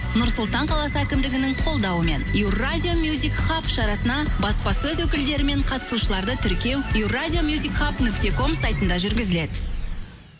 нұр сұлтан қаласы әкімдігінің қолдауымен еуразия мюзикхаб шарасына баспасөз өкілдері мен қатысушыларды тіркеу еуразия мюзикхаб нүкте ком сайтында жүргізіледі